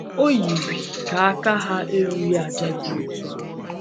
O yiri ka aka ha erughị àjà dị otú ahụ.